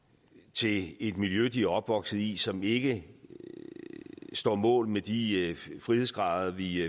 til et miljø de er opvokset i som ikke står mål med de frihedsgrader vi